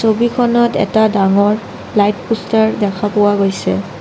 ছবিখনত এটা ডাঙৰ লাইট পুষ্টাৰ দেখা পোৱা গৈছে।